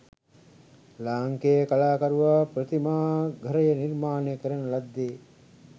ලාංකේය කලාකරුවා ප්‍රතිමාඝරය නිර්මාණය කරන ලද්දේ